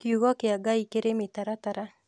kiugo kĩa Ngai kĩrĩ mĩtaratara